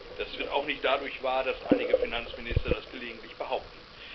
Das wird auch nicht dadurch wahr, dass einige Finanzminister das gelegentlich behaupten.